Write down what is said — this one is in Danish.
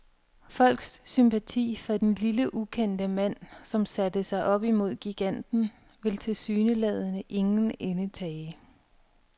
Folks sympati for den lille, ukendte mand, som satte sig op imod giganten, vil tilsyneladende ingen ende tage.